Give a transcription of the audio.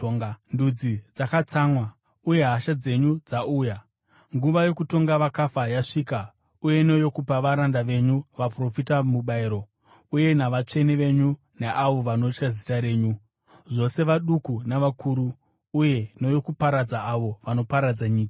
Ndudzi dzakatsamwa; uye hasha dzenyu dzauya. Nguva yokutonga vakafa yasvika, neyokupa varanda venyu vaprofita mubayiro, uye navatsvene venyu neavo vanotya zita renyu, zvose vaduku navakuru, uye neyokuparadza avo vanoparadza nyika.”